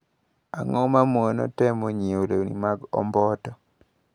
Ang`o mamono temo nyiewo lewni mag omboto.